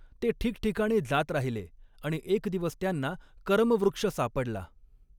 ते ठिकठिकाणी जात राहिले आणि एक दिवस त्यांना करमवृक्ष सापडला.